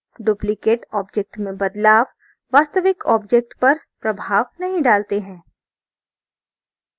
duplicated object में बदलाव वास्तविक object पर प्रभाव नहीं डालते हैं